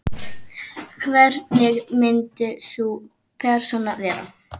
Hvernig myndi sú persóna vera?